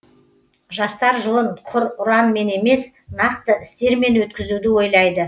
жастар жылын құр ұранмен емес нақты істермен өткізуді ойлайды